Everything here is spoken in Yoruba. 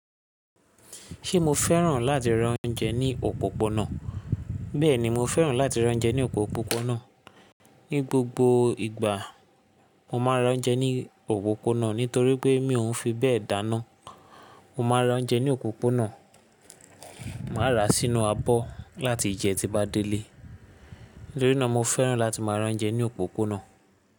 Ṣé mo fẹ́ràn láti ra oúnjẹ ní òpópónà? Bẹ́ẹ̀ni, mo fẹ́ràn láti ra oúnjẹ ní òpópónà. Ni gbogbo ìgbà mo máa ń ra oúnjẹ ní òpópónà nítorí pé mi òún fi bẹ́ẹ̀ dáná. Mo máa ra oúnjẹ ní òpópónà, màá ra sínú abọ́ láti jẹ tí bá délé. Nítorínà mo fẹ́ràn láti máa ra oúnjẹ ní òpópónà.